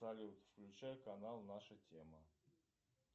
салют включай канал наша тема